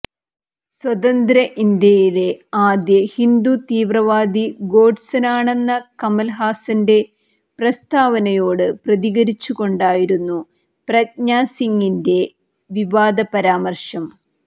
സ്വതന്ത്ര ഇന്ത്യയിലെ ആദ്യ ഹിന്ദു തീവ്രവാദി ഗോഡ്സെയാണെന്ന കമല് ഹാസന്റെ പ്രസ്താവനയോട് പ്രതികരിച്ചുകൊണ്ടായിരുന്നു പ്രജ്ഞാ സിങിന്റെ വിവാദ പരാമര്ശം